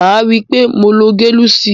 Maa ri wipe mo lo gelusil.